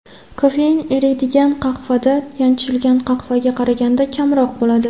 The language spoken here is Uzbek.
Kofein eriydigan qahvada yanchilgan qahvaga qaraganda kamroq bo‘ladi.